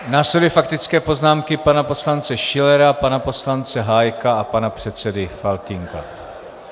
Následují faktické poznámky pana poslance Schillera, pana poslance Hájka a pana předseda Faltýnka.